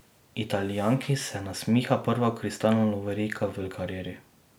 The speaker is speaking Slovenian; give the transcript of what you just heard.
Italijanki se nasmiha prva kristalna lovorika v karieri.